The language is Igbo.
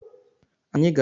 anyi ga-aga gote ogwu